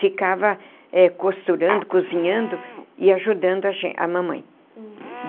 Ficava costurando, cozinhando e ajudando a ge a mamãe.